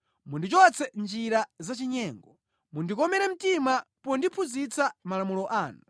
Mundichotse mʼnjira zachinyengo; mundikomere mtima pondiphunzitsa malamulo anu.